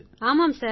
ஆமாம் சார்